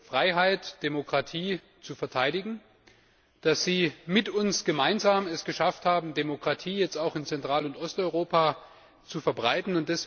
Freiheit und Demokratie zu verteidigen, dass sie es mit uns gemeinsam geschafft haben, die Demokratie auch in Zentral und Osteuropa zu verbreiten.